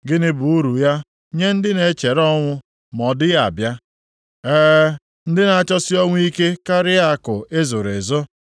Gịnị bụ uru ya nye ndị na-echere ọnwụ ma ọ dịghị abịa, ee, ndị na-achọsi ọnwụ ike karịa akụ e zoro ezo,